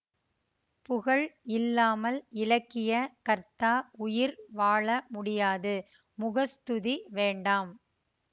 புகழ் இல்லாமல் இலக்கிய கர்த்தா உயிர் வாழ முடியாது முகஸ்துதி வேண்டாம்